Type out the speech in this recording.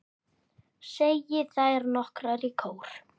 segja þær nokkrar í kór.